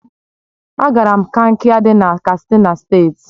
Agara m Kankia di na Katsina State